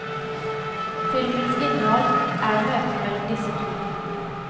Filmens innhold er møtet mellom disse to.